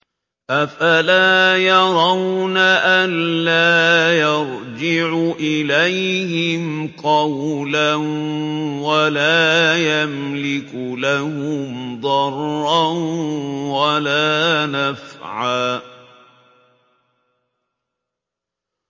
أَفَلَا يَرَوْنَ أَلَّا يَرْجِعُ إِلَيْهِمْ قَوْلًا وَلَا يَمْلِكُ لَهُمْ ضَرًّا وَلَا نَفْعًا